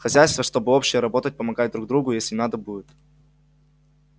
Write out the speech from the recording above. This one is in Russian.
хозяйство чтобы общее работать помогать друг другу если надо будет